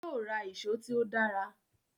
Yóò ra ìṣó tí ó dára